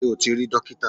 Ṣé o ti rí dókítà?